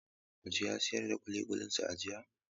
Muji ya siyar da duk ƙuliƙulinsa a jiya.